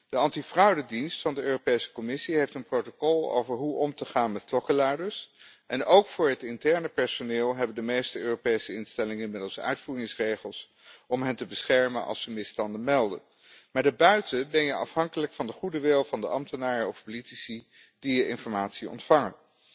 De antifraudedienst van de Europese Commissie heeft een protocol over hoe om te gaan met klokkenluiders en ook voor het interne personeel hebben de meeste Europese instellingen inmiddels uitvoeringsregels om hen te beschermen als ze misstanden melden. Maar daarbuiten ben je afhankelijk van de goede wil van de ambtenaren of politici die je informatie ontvangen.